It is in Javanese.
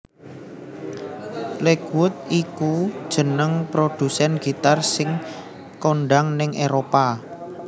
Lakewood iku jeneng produsèn gitar sing kondhang nèng Éropah